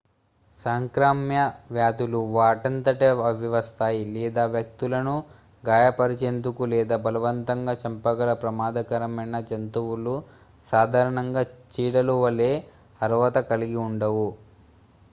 సంక్రామ్య వ్యాధులు వాటంతట అవే వస్తాయి లేదా వ్యక్తులను గాయపరిచేందుకు లేదా బలవంతంగా చంపగల ప్రమాదకరమైన జంతువులు సాధారణంగా చీడలు వలే అర్హత కలిగి ఉండవు